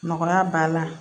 Nɔgɔya b'a la